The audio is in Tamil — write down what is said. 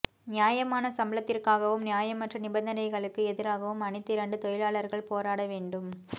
நியாயமான சம்பளத்திற்காகவும் நியாயமற்ற நிபந்தனைகளுக்கு எதிராகவும் அணித்திரண்டு தொழிலாளர்கள் போராட வேண்டும்